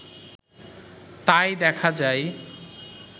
তাই দেখা যায়